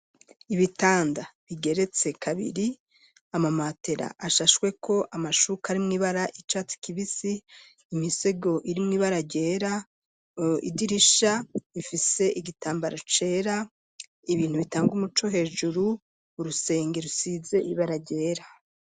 Ibitanda bigeretse kabiri, amamatera ashashweko amashuka ari mw'ibara icatsi kibisi, imisego iri mu ibara ryera, idirisha ifise igitambaro cera, ibintu bitangwa umuco hejuru, urusenge rusize ibara ryera.